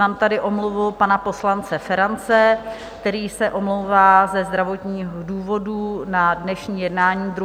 Mám tady omluvu pana poslance Ferance, který se omlouvá ze zdravotních důvodů na dnešní jednání 2. února.